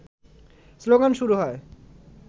slogan শুরু হয়